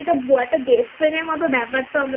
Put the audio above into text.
একটা Best Friend এর মত ব্যাপার তো